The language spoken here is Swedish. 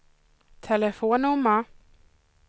telefonnummer